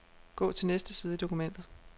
Gå til næste side i dokumentet.